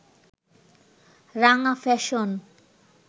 রাঙা ফ্যাশন